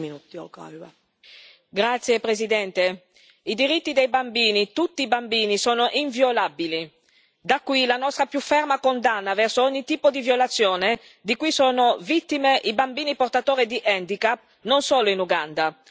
Signora Presidente, onorevoli colleghi, i diritti dei bambini, tutti i bambini, sono inviolabili. Da qui la nostra più ferma condanna verso ogni tipo di violazione di cui sono vittime i bambini portatori di handicap, non solo in Uganda.